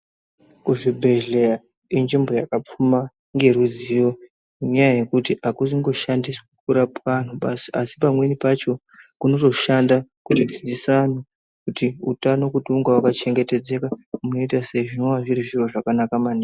Kuzvibhedheya kunzvimbo yakapfuma ngeruzivi ngenyaya yekuti akungoshandiswi kurapa anhu basi asi pamweni pacho kunotoshanda kudzidzisa anhu kuti utano unge makachena unoita sei zvinova zviri zviro zvakanaka maningi.